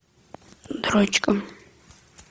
дрочка